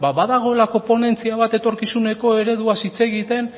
ba badagoelako ponentzia bat etorkizuneko ereduaz hitz egiten